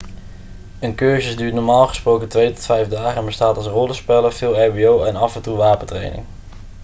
een cursus duurt normaal gesproken 2 tot 5 dagen en bestaat uit rollenspellen veel ehbo en af en toe wapentraining